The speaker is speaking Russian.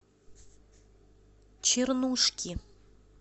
чернушки